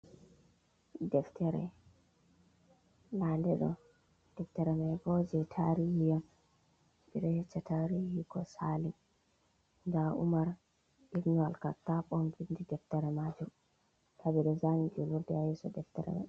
Deftere, ndaa nde ɗo deftere man bo jey taariihi on ɓe ɗo yecca taariihi ko saali, nda Umar ibnu Al kattab on vinndi deftare maajum haa ɓanndu zaani juulurde haa yeeso deftere may.